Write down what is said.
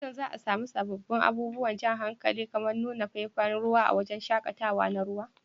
Shin za a sami sabbin abubuwan jan hankali kamar nunin faifan ruwa a wurin shaƙatawa na ruwa?